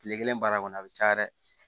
Kile kelen baara kɔni a bi caya